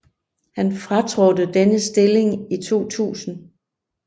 Han fratrådte denne stilling i 2000